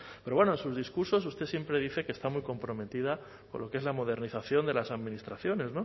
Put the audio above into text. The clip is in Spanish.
pero bueno en sus discursos usted siempre dice que está muy comprometida con lo que es la modernización de las administraciones